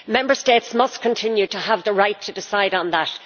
Member States must continue to have the right to decide on that.